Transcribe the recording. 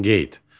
Qeyd.